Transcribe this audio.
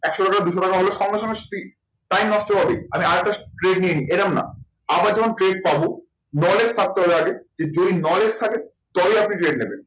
একশো টাকাটা দুশো টাকা হলো সঙ্গে সঙ্গে time নষ্ট হবে আমি আর একটা নিয়ে নিই এরম না। আবার যখন পাবো knowledge থাকতে হবে আগে যদি knowledge থাকে তবেই আপনি নেবেন।